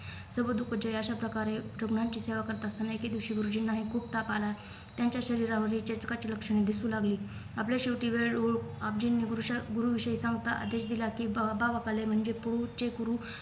सबदूकजय अशा प्रकारे रुग्णांची सेवा करत अस एके दिवशी गुरुजींनाही खूप ताप आला त्यांच्या शरीरावर चे लक्षणे दिसू लागली आपला शेवटी वेळ ओळ आपजींनी गुरुशा गुरुविषयी चौथा आदेश दिला कि बाबावकाले म्हणजे पूह चे गुरु